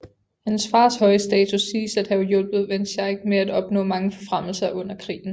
Hans fars høje status siges at have hjulpet van Schaick med at opnå mange forfremmelser under krigen